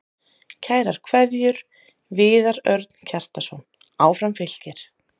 Kærar kveðjur, Viðar Örn Kjartansson Áfram Fylkir